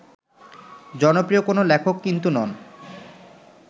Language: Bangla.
জনপ্রিয় কোনো লেখক কিন্তু নন